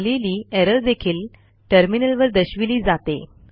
आलेली एरर देखील टर्मिनलवर दर्शविली जाते